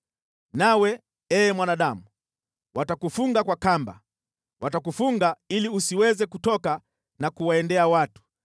Nawe, ee mwanadamu, watakufunga kwa kamba, watakufunga ili usiweze kutoka na kuwaendea watu.